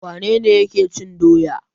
Wane ne yake cin doya?